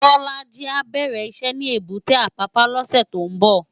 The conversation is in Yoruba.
Bolaji á bèrè iṣè ni ébùté Apapa lòsè tó n bò